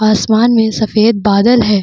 आसमान में सफ़ेद बादल है ।